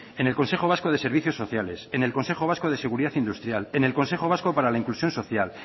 en el consejo vasco de servicios sociales en el consejo vasco de seguridad industrial en el consejo vasco para la inclusión social